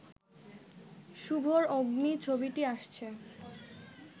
শুভর 'অগ্নি' ছবিটি আসছে